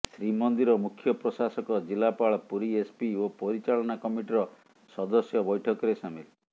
ଶ୍ରୀମନ୍ଦିର ମୁଖ୍ୟ ପ୍ରଶାସକ ଜିଲ୍ଲାପାଳ ପୁରୀ ଏସପି ଓ ପରିଚାଳନା କମିଟିର ସଦସ୍ୟ ବୈଠକରେ ସାମିଲ୍